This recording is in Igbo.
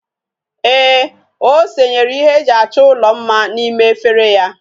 Eeh, o senyere ihe eji acho ulo mma na ime efere ya